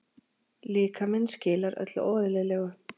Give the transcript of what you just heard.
Líkaminn skilar öllu óeðlilegu.